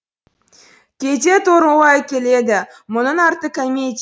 кейде торығуға әкеледі мұның арты комеди